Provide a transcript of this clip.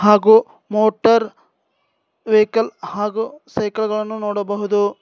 ಹಾಗೂ motor vehicle ಹಾಗೂ cycle ಗಳನ್ನು ನೋಡಬಹುದು.